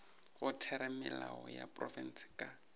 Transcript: go theramelao ya profense ka